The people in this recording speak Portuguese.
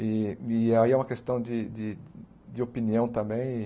E e aí é uma questão de de de opinião também.